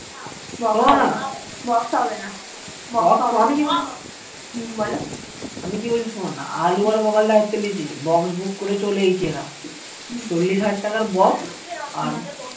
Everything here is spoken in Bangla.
শোনো না আমি কি বলছি শোনো না আমি কি বলছি শোন না আলু আর বখাল দা দায়িতে লিয়েছে box book করে চলে এইচে এরা চল্লিশ হাজার টাকার box আর